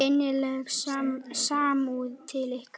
Innileg samúð til ykkar.